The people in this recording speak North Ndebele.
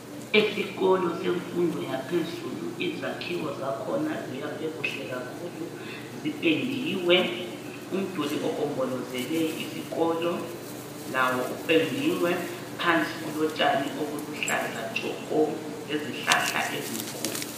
Esikolo semfundo yaphezulu izakhiwo zakhona ziyakwe kuhle kakhulu zipendiwe umduli ogombolozele isikolo lawo kupendiwe phansi kulontshani obuluhlaza ntshoko lezihlahla ezinkulu.